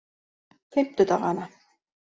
fimmtudaganna